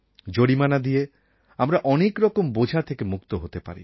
জরিমানা দিয়ে আমরা অনেক রকম বোঝা থেকে মুক্ত হতে পারি